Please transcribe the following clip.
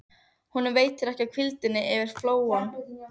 Honum veitir ekki af hvíldinni yfir flóann.